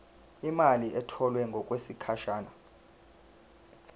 imali etholwe ngokwesigatshana